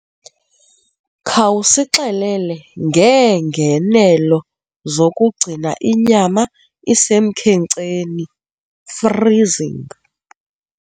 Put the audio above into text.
Khawusixelele ngeengenelo zokugcina inyama isemkhenkceni, freezing.